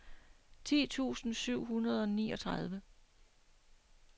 ti tusind syv hundrede og niogtredive